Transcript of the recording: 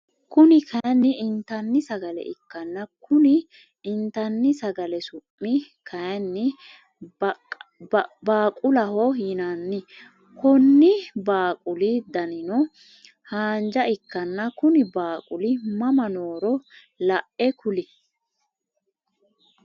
Kuni kaayiini inttanni sagale ikkanna Konni inttani sagale su'mi kaayiini baaaqulaho yinanni Konni baaqulli danino haanjja ikkana Kuni baaquli mama nohoro la'e kuli